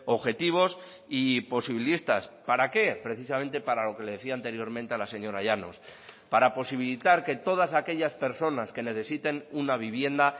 objetivos y posibilistas para qué precisamente para lo que le decía anteriormente a la señora llanos para posibilitar que todas aquellas personas que necesiten una vivienda